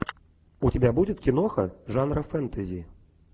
у тебя будет киноха жанра фэнтези